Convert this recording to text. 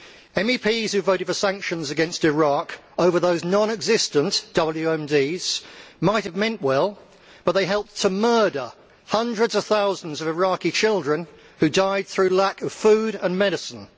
MEPs who voted for sanctions against Iraq over those non existent WMDs might have meant well, but they helped to murder hundreds of thousands of Iraqi children, who died through lack of food and medicine.